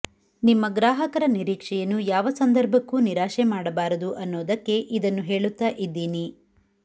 ನಿಮ್ಮ ಗ್ರಾಹಕರ ನಿರೀಕ್ಷೆಯನ್ನು ಯಾವ ಸಂದರ್ಭಕ್ಕೂ ನಿರಾಶೆ ಮಾಡಬಾರದು ಅನ್ನೋದಕ್ಕೆ ಇದನ್ನು ಹೇಳುತ್ತಾ ಇದ್ದೀನಿ